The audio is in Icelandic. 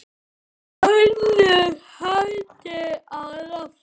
Önnur höndin á lofti.